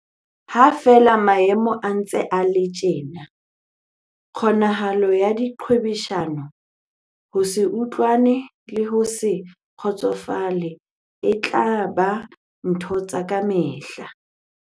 Ha feela maemo a ntse a le tjena, kgonahalo ya diqhwebeshano, ho se utlwane le ho se kgotsofale e tla ba dintho tsa kamehla.